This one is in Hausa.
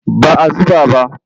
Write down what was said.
Ba a zuba ba.